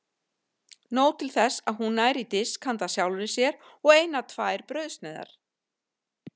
Nóg til þess að hún nær í disk handa sjálfri sér og eina tvær brauðsneiðar.